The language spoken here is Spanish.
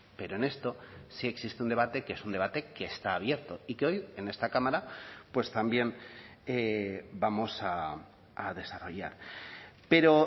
pero en esto sí existe un debate que es un debate que está abierto y que hoy en esta cámara pues también vamos a desarrollar pero